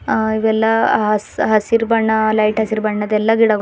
ಆ ಇವೆಲ್ಲ ಹಸಿ ಹಸಿರ್ ಬಣ್ಣ ಲೈಟ್ ಹಸಿರ್ ಬಣ್ಣದ್ದೆಲ್ಲಾ ಗಿಡ--